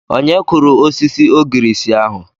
Onye kụrụ osisi ogirisi ahụ?